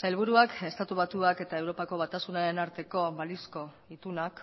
sailburuak estatu batuak eta europako batasunaren arteko balizko itunak